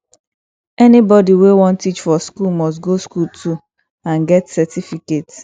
anybody wey won teach for school must go school too and get certificate